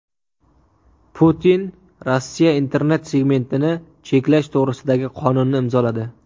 Putin Rossiya internet segmentini cheklash to‘g‘risidagi qonunni imzoladi.